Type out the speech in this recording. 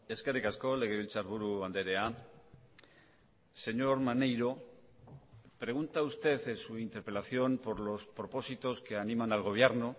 eskerrik asko legebiltzarburu andrea señor maneiro pregunta usted en su interpelación por los propósitos que animan al gobierno